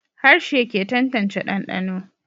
Harshe ke tantance dandano